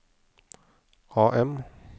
AM